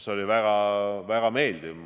See oli väga meeldiv.